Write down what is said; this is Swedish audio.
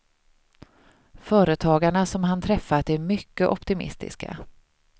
Företagarna som han träffat är mycket optimistiska.